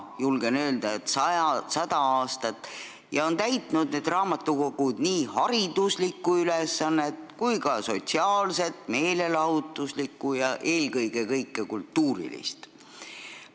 Julgen öelda, et juba sada aastat on need raamatukogud täitnud nii hariduslikku kui ka sotsiaalset, samuti meelelahutuslikku ja eelkõige kultuurilist rolli.